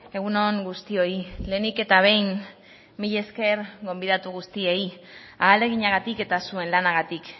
egun on guztioi lehenik eta behin mila esker gonbidatu guztiei ahaleginagatik eta zuen lanagatik